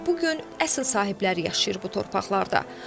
Amma bu gün əsl sahibləri yaşayır bu torpaqlarda.